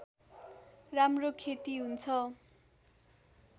राम्रो खेती हुन्छ